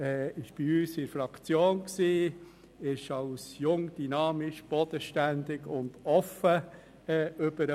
Sie ist bei uns in der Fraktion als jung, dynamisch, bodenständig und offen rübergekommen.